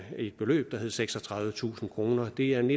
et beløb der hedder seksogtredivetusind kroner det er en